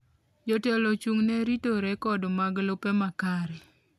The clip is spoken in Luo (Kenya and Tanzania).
Jotelo ochung'ne rito rekod mag lope ma kare.